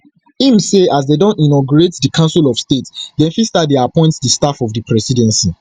im say as dem don inaugurate di council of state dem fit start to appoint di staff of di presidency